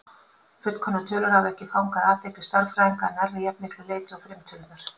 Fullkomnar tölur hafa ekki fangað athygli stærðfræðinga að nærri jafn miklu leyti og frumtölurnar.